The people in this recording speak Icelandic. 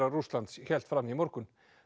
Rússlands hélt fram í morgun